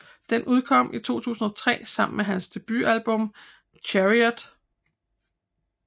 Den udkom i 2003 sammen med hans debut album Chariot